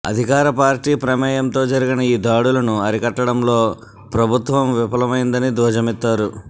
అధికారపార్టీ ప్రమేయంతో జరిగిన ఈ దాడులను అరికట్టడంలో ప్రభుత్వం విఫలమైందని ధ్వజమెత్తారు